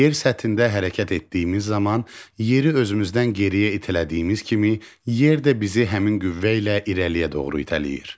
Yer səthində hərəkət etdiyimiz zaman yeri özümüzdən geriyə itələdiyimiz kimi yer də bizi həmin qüvvə ilə irəliyə doğru itələyir.